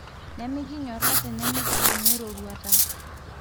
nemikinyora tenemikidumu eroruata